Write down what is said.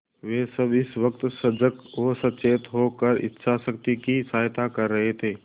वे सब इस वक्त सजग और सचेत होकर इच्छाशक्ति की सहायता कर रहे थे